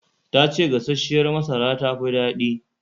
Ta ce gasasshiyar masara tafi daɗi